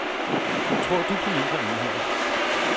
Tror du på mindre enheder?